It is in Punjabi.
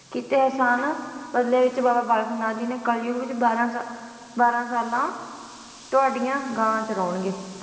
ਕੀਤੇ ਇਹਸਾਨ ਬਦਲੇ ਵਿੱਚ ਬਾਬਾ ਬਾਲਕ ਨਾਥ ਜੀ ਨੇ ਕਲਯੁੱਗ ਵਿੱਚ ਬਾਰਾਂ ਸਾ ਬਾਰਾਂ ਸਾਲਾਂ ਤੁਹਾਡੀਆਂ ਗਾਂ ਚਰਾਉਂਣਗੇ।